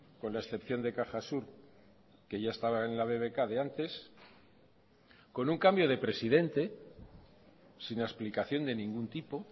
con la excepción de cajasur que ya estaba en la bbk de antes con un cambio de presidente sin explicación de ningún tipo